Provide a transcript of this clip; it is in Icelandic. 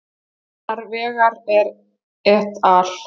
annar vegar er et al